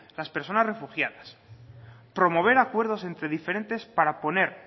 las personas refugiadas promover acuerdos entre diferentes para poner